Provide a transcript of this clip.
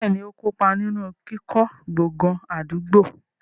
Bẹ́ẹ̀ni, ó kó pa ninu kíkọ́ gbọ̀ngàn àdúgbò.